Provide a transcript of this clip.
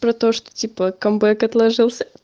про то что типа камбэк отложился